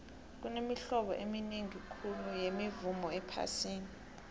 kunemihlobo eminingi khulu yemivumo ephasini